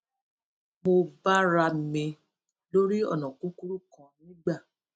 mo bára mi lórí ònà kúkúrú kan nígbà